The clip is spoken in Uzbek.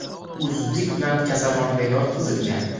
U zudlik bilan kasalxonaga yotqizilgan.